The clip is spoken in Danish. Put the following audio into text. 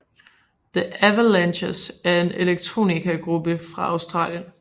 The Avalanches er en Electronicagruppe fra Australien